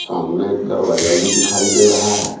सामने एक दरवाजा भी दिखाई दे रहा है।